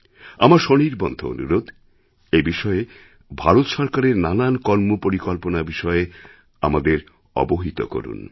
আমার সনির্বন্ধ অনুরোধ এই বিষয়ে ভারত সরকারের নানান কর্মপরিকল্পনা বিষয়ে আমাদের অবহিত করুন